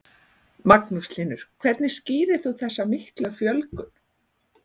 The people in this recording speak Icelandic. Magnús Hlynur: Hvernig skýrir þú þessa miklu fjölgun?